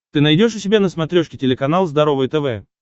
ты найдешь у себя на смотрешке телеканал здоровое тв